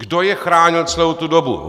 Kdo je chránil celou tu dobu?